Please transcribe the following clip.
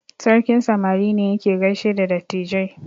Sarkin samari ne yake gaishe da dattijai.